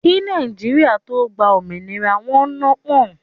Kí Nàìjíríà tó gbá òmìnira, wọn nọ́ pọ̀n-ọ́n